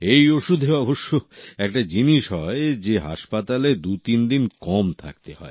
এই ওষুধে অবশ্যই একটা জিনিস হয় যে হাসপাতালে দুতিনদিন কম থাকতে হয়